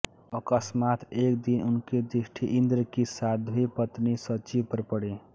अकस्मात् एक दिन उनकी दृष्टि इन्द्र की साध्वी पत्नी शची पर पड़ी